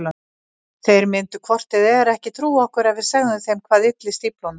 Þeir myndu hvort eð er ekki trúa okkur ef við segðum þeim hvað ylli stíflunum.